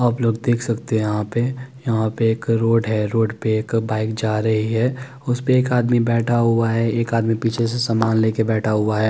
आप लोग देख सकते हैं यहां पे यहां पे एक रोड है रोड पे एक बाइक जा रही है उस पे एक आदमी बैठा हुआ है एक आदमी पीछे से सामान ले के बैठा हुआ है।